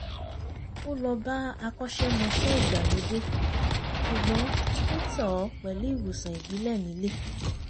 ó lọ́ bá akọṣẹ́mọṣẹ́ ìgbàlódé ṣùgbọ́n ó tọ̀ ọ́ pẹ̀lú ìwòsàn ìbílẹ̀ nílé